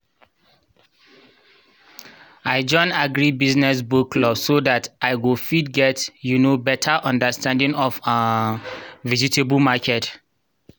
i join agri business book club so that i go fit get um better understanding of um vegetable market